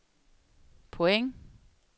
point